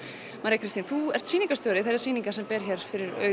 María þú ert sýningarstjóri þessarar sýningar hér fyrir